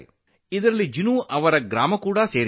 ಇದು ಜಿನು ಅವರ ಗ್ರಾಮವನ್ನು ಸಹ ಒಳಗೊಂಡಿದೆ